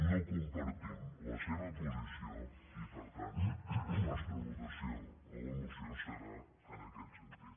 no compartim la seva posició i per tant la nostra votació a la moció serà en aquest sentit